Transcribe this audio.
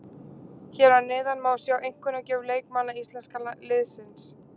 Hér að neðan má sjá einkunnagjöf leikmanna íslenska liðsins.